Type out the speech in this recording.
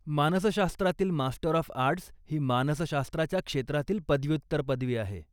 मानसशास्त्रातील master of arts ही मानसशास्त्राच्या क्षेत्रातील पदव्युत्तर पदवी आहे.